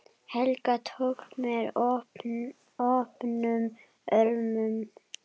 Helga tók mér opnum örmum.